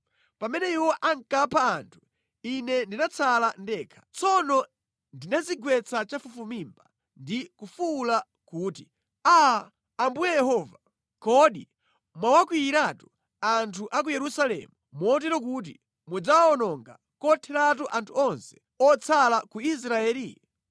Pamene iwo ankapha anthu, ine ndinatsala ndekha. Tsono ndinadzigwetsa chafufumimba ndi kufuwula kuti, “Aa, Ambuye Yehova! Kodi mwawakwiyiratu anthu a ku Yerusalemu motero kuti mudzawononga kotheratu anthu onse otsala ku Israeli?”